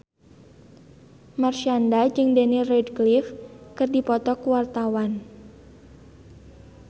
Marshanda jeung Daniel Radcliffe keur dipoto ku wartawan